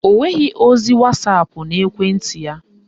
Ọ nweghị ozi wasapụ n'ekwenti ya.